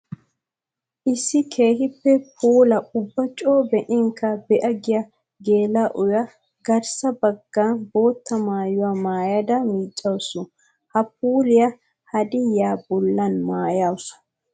Issi keehippe puulla ubba coo be'inkka be'a giya geela'o garssa bagan bootta maayuwa maayadda miicawussu. Ha puuliya haddiy bollan maayassu.